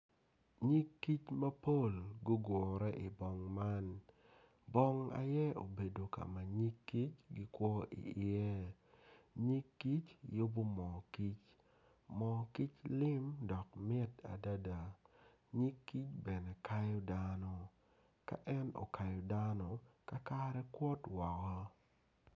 Nyigkic mapol gugure i bong man bong aye obedo ka ma nyig kic gikwo iye nyig kic giyubo moo kic moo kic lim dok lim adada nyig kic bene kayo dano ka en oakyo dano kakare kwot woko.